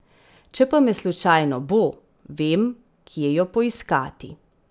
Če pa me slučajno bo, vem, kje jo poiskati.